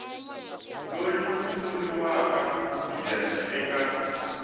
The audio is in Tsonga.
loyi ku vuriwaka yena eka